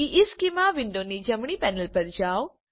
ઇશ્ચેમાં વિન્ડોની જમણી પેનલ પર જાઓ